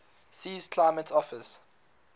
sea's climate offers